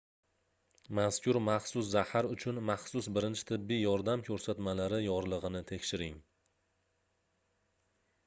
mazkur maxsus zahar uchun maxsus birinchi tibbiy yordam koʻrsatmalari yorligʻini tekshiring